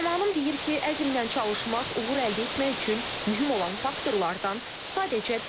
Qəhrəmanım deyir ki, əzmlə çalışmaq, uğur əldə etmək üçün mühüm olan faktorlardan sadəcə biridir.